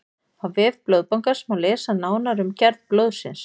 á vef blóðbankans má lesa nánar um gerð blóðsins